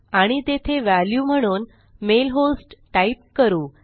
आणि तेथे व्हॅल्यू म्हणून मेल होस्ट टाईप करू